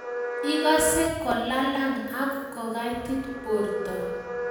igase kolalang ak kogaitit borto